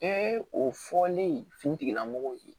Bɛɛ o fɔlen fini tigilamɔgɔw ye